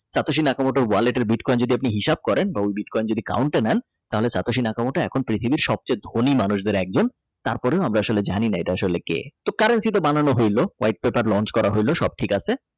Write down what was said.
তাঁতশি Nakamoto এর Wallet bitcoin যদি আপনি হিসাব করেন বা ওই বিটকয়েন যদি count নেন তাহলে তা তোষি কানা মোটা এখন পৃথিবীর সবচেয়ে ধনী মানুষের একজন তারপরে আমরা আসলে জানিনা আসলে এটা কে যেটা Launch করা হলো সব ঠিক আছে